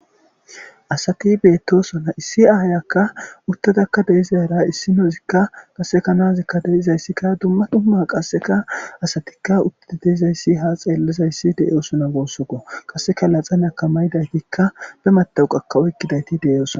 Asati beettosona issi ayakka uttadakka de'izara issinozikka qaseka nazikka de'izayssikka dumma dumma qasseka asatikka utti de'izayssi ha xeellizayssi de'iyosuna gussako qaseka laxanaka maydaytikka be matawuqakka oykkidayti deyosna.